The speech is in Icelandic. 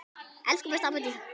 Elsku besta amma Dísa.